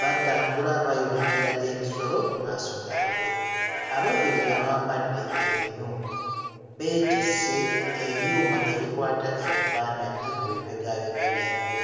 batambula bayolekera ebisolo mu maaso gaabwe ababiri abambadde ebinu beetisse ebyuma ebikwata ebifaananyi ku bibegaabega byabwe.